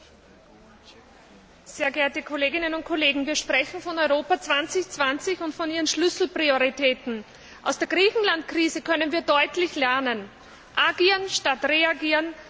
Frau Präsidentin, sehr geehrte Kolleginnen und Kollegen! Wir sprechen von Europa 2020 und von Ihren Schlüsselprioritäten. Aus der Griechenland Krise können wir deutlich lernen Agieren statt reagieren!